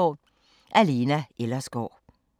Af Lena Ellersgaard